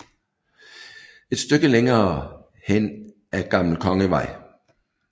Et stykke længere hen ad Gl